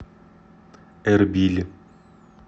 эрбиль